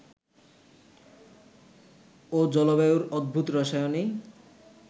ও জলবায়ুর অদ্ভুত রসায়নেই